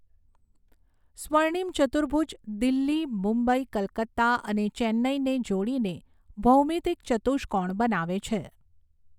સ્વર્ણિમ ચર્તુભુજ દિલ્હી મુબંઈ કલકત્તા અને ચેન્નઈને જોડીને ભૌમિતિક ચતુષ્કોણ બનાવે છે.